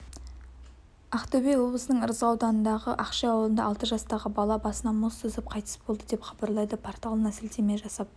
ақтөбе облысының ырғыз ауданындағы ақши ауылында алты жастағы бала басына мұз түсіп қайтыс болды деп хабарлайды порталына сілтеме жасап